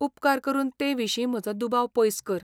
उपकार करून ते विशीं म्हजो दुबाव पयस कर.